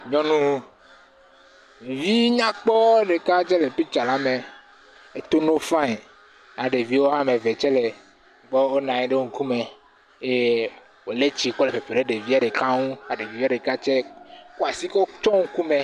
Nyɔnuvinyakpɔ ɖeka ɖe le pitsa la me. Eto no fain. Ya ɖevi woame ve tse le gbɔ wonanyi ɖe wo ŋkume eye wole etsi kɔm ɖe ɖevia ɖeka ŋu ya ɖevia ɖeka tse kɔ asi kɔ tsɔ ŋkume.